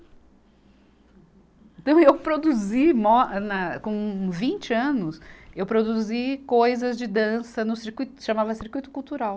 Então eu produzi, mo, né, com vinte anos, eu produzi coisas de dança no circuito, chamava circuito cultural.